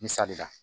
Misali la